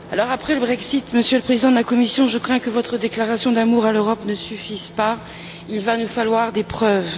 Après le Brexit, Monsieur le Président de la Commission, je crains que votre déclaration d'amour à l'Europe ne suffise pas, il va nous falloir des preuves.